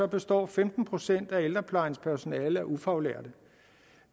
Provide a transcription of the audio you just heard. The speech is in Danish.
består femten procent af ældreplejens personale af ufaglærte